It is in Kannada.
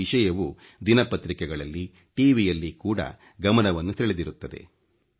ಈ ವಿಷಯವು ದಿನಪತ್ರಿಕೆಗಳಲ್ಲಿ ಖಿಗಿ ಯಲ್ಲಿ ಕೂಡ ಗಮನವನ್ನು ಸೆಳೆದಿರುತ್ತದೆ